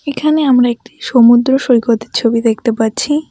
এখানে আমরা একটি সমুদ্র সৈকতের ছবি দেখতে পাচ্ছি।